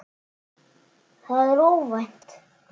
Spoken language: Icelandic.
Það er óvænt.